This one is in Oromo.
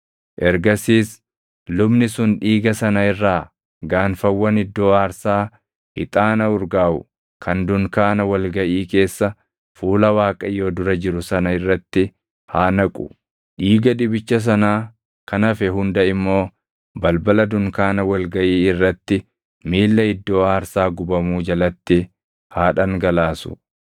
Ergasiis lubni sun dhiiga sana irraa gaanfawwan iddoo aarsaa ixaana urgaaʼu kan dunkaana wal gaʼii keessa fuula Waaqayyoo dura jiru sana irratti haa naqu. Dhiiga dibicha sanaa kan hafe hunda immoo balbala dunkaana wal gaʼii irratti miilla iddoo aarsaa gubamuu jalatti haa dhangalaasu.